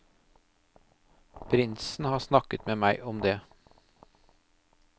Prinsen har snakket med meg om deg.